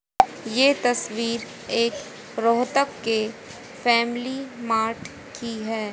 ये तस्वीर एक रोहतक के फैमिली मार्ट की है।